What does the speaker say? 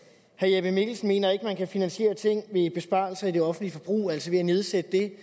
herre jeppe mikkelsen mener ikke at man kan finansiere ting ved besparelser i det offentlige forbrug altså ved at nedsætte det